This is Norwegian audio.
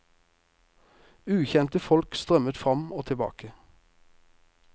Ukjente folk strømmet fram og tilbake.